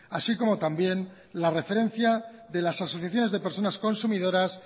así como también la referencia de las asociaciones de personas consumidoras